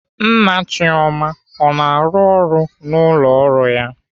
Nna Chioma ọ na-arụ ọrụ n'ụlọ ọrụ ya?